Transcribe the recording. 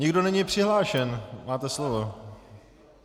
Nikdo není přihlášen, máte slovo.